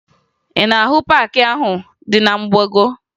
Ị na-ahụ paakị ahụ dị na mgbago?